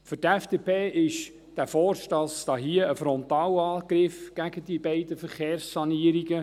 Für die FDP ist dieser Vorstoss ein Frontalangriff gegen die beiden Verkehrssanierungen.